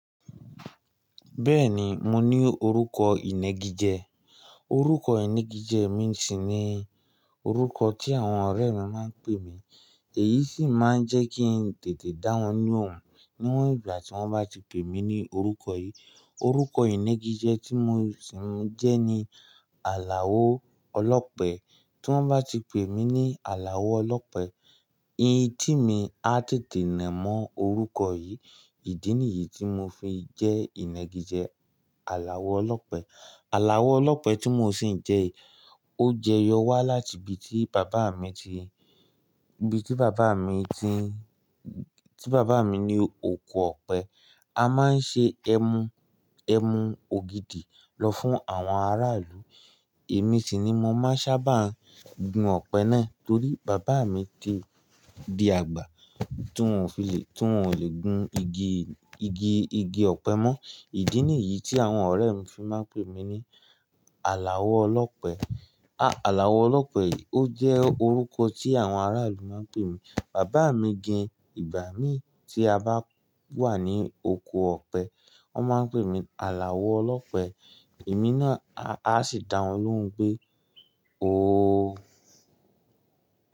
Bẹ́ẹ̀ni, mo ní orúkọ ìnagijẹ. Orúkọ ìnagijẹ mi sì ni orúkọ tí àwọn ọ̀rẹ́ mi máa ń pè mí. Èyí sì máa ń jẹ́ kí n tètè dáwọn lóhùn níwọ̀n ìgbà tí wọ́n bá ti pè mí ní orúkọ yìí. Orúkọ ìnagijẹ tí mo sì ń jẹ́ ni Alao ọlọ́pẹ. Tí wọ́n bá ti pè mí ní Aláo ọlọ́pẹ, etí mi á tètè nà mó orúkọ yìí. Ìdí nìyí tí mo fi jẹ́ ìnagijẹ Aláo ọlọ́pẹ. Aláo ọlọ́pẹ tí mo sì ń jẹ yìí, ó jẹyọ wá láti ibí tí bàbá mi ti, ibí tí bàbá mi ti, tí bàbá mi ní oko ọ̀pẹ. A máa ń ṣe ẹmu, ẹmu ògìdì lọ fún àwọn aráàlú. Èmi sì ni mo máa sábà gùn ọ̀pẹ náà torí bàbá mi ti di àgbà tí wọ́n ò fi lè, tí wọ́n ò lè gun igi ọ̀pẹ mó. Ìdí nìyí tí àwọn ọ̀rẹ́ mi fi máa ń pè mí ní Aláwọ̀ ọlọ́pẹ. Aláo ọlọ́pẹ yìí ó jẹ́ orúkọ tí àwọn aráàlú máa ń pè mí. Bàbá mi gan, ìgbà mí tí a bá wà ní oko ọ̀pẹ, wọ́n máa ń pè mí Aláo ọlọ́pẹ. Èmi náà a, a sì dáwọn lóhùn pé "oo".